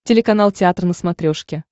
телеканал театр на смотрешке